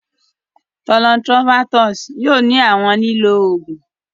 Thollon Sttrophanthus yóò ni awọn lílò oògùn.